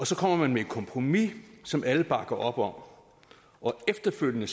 så kommer man med et kompromis som alle bakker op om og efterfølgende